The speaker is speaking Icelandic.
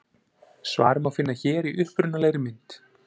Svarið má finna hér í upprunalegri mynd.